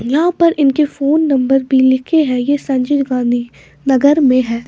यहां पर इनके फोन नंबर भी लिखे हैं यह संजय गांधी नगर में है।